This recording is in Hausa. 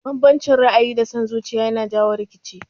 Banbancin ra'ayi da son zuciya yana jawo rikici